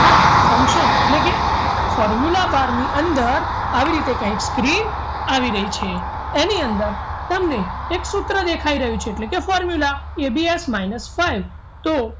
આ function એટલે કે formula bar ની અંદર આવી રીતે કહે screen આવી રહી છે એની અંદર તમને એક સૂત્ર દેખાઈ રહ્યું છે એટલે કે formulaABSminus five તો